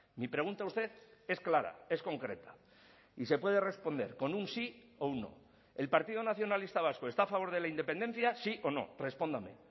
mi pregunta a usted es clara es concreta y se puede responder con un sí o un no el partido nacionalista vasco está a favor de la independencia sí o no respóndame